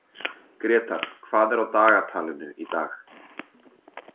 Grétar, hvað er á dagatalinu í dag?